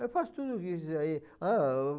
Eu faço tudo isso aí. Ah,